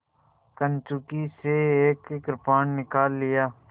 कंचुकी से एक कृपाण निकाल लिया